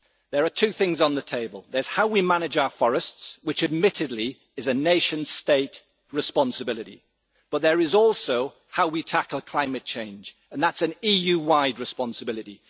There are two things on the table there is how we manage our forests, which admittedly is a nation state responsibility, but there is also how we tackle climate change and that is an EU wide responsibility.